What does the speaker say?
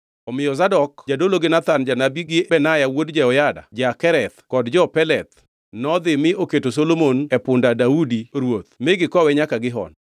Omiyo Zadok jadolo gi Nathan janabi gi Benaya wuod Jehoyada ja-Kereth kod jo-Peleth nodhi mi oketo Solomon e punda Daudi ruoth mi gikowe nyaka Gihon.